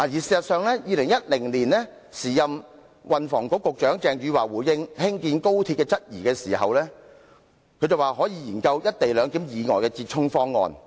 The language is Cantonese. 事實上 ，2010 年時任運輸及房屋局局長鄭汝樺在回應議員對興建高鐵的質疑時，曾說可以研究"一地兩檢"以外的折衷方案。